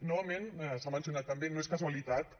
novament s’ha mencionat també no és casualitat que